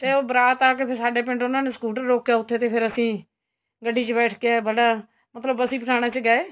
ਉਹ ਬਰਾਤ ਆ ਕੇ ਫੇਰ ਸਾਡੇ ਪਿੰਡ ਉਹਨਾ ਨੇ scooter ਰੋਕਿਆ ਉੱਥੇ ਤੇ ਫੇਰ ਅਸੀਂ ਗੱਡੀ ਚ ਬੈਠ ਏ ਆਏ ਬੜਾ ਮਤਲਬ ਬਸੀ ਪਠਾਣਾ ਚ ਗਏ